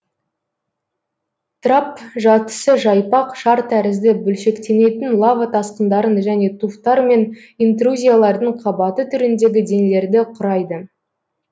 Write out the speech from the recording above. трапп жатысы жайпақ шар тәрізді бөлшектенетін лава тасқындарын және туфтар мен интрузиялардың қабаты түріндегі денелерді құрайды